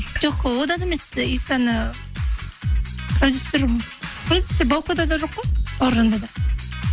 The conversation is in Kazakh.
жоқ одан емес исаны продюсер баукада да жоқ қой бауыржанда да